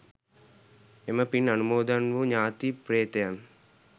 එම පින් අනුමෝදන් වූ ඥාති ප්‍රේතයන්